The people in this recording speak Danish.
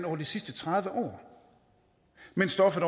over de sidste tredive år mens stoffet